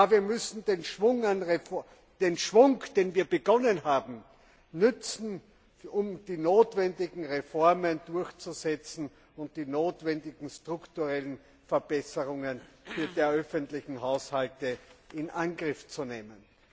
Wir müssen den Schwung, mit dem wir begonnen haben, nützen, um die notwendigen Reformen durchzusetzen und die notwendigen strukturellen Verbesserungen der öffentlichen Haushalte in Angriff zu nehmen.